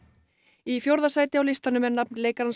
í fjórða sæti á listanum er nafn leikarans